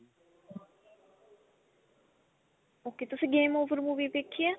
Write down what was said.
ok ਤੁਸੀਂ game over movie ਦੇਖੀ ਆ